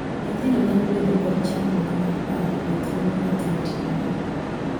Nyithindo nyalo bedo kod chandruok mar paro e thuolo ma thoo otimore.